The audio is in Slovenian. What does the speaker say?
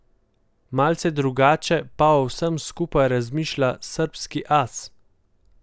Malce drugače pa o vsem skupaj razmišlja srbski as.